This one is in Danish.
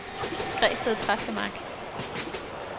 Græsted Præstemark